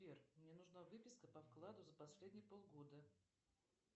сбер мне нужна выписка по вкладу за последние полгода